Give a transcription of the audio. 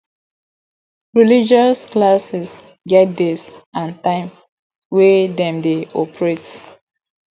religious classes get days and time wey dem de operate